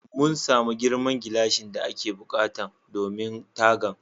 Mun samu girman gilashin da ake buƙatan domin tagan.